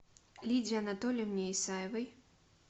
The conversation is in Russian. лидии анатольевне исаевой